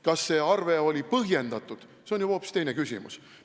Kas see arve oli põhjendatud, on juba hoopis teine küsimus.